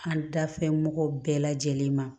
An da fɛn mɔgɔ bɛɛ lajɛlen ma